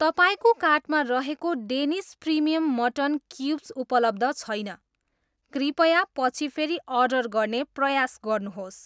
तपाईँको कार्टमा रहेको डेनिस प्रिमियम मटन क्युब्स उपलब्ध छैन, कृपया पछि फेरि अर्डर गर्ने प्रयास गर्नुहोस्।